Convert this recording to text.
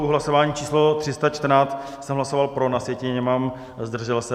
U hlasování číslo 314 jsem hlasoval pro, na sjetině mám zdržel se.